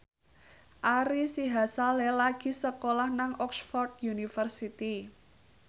Ari Sihasale lagi sekolah nang Oxford university